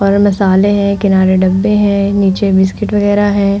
और मसाले हैं। किनारे डब्बे हैं। नीचे बिस्किट वगेरा हैं।